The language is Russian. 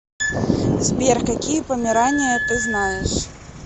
сбер какие померания ты знаешь